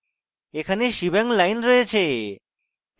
এখানে shebang line রয়েছে